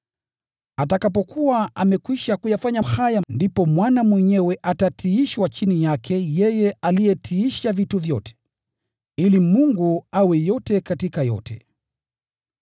Atakapokuwa amekwisha kuyafanya haya, ndipo Mwana mwenyewe atatiishwa chini yake yeye aliyetiisha vitu vyote, ili Mungu awe yote katika yote.